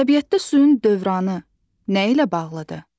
Təbiətdə suyun dövranı nə ilə bağlıdır?